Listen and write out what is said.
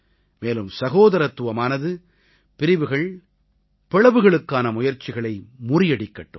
மேலும் சகோதரத்துவமானது பிரிவினைகள் பிளவுகளுக்கான முயற்சிகளை முறியடிக்கட்டும்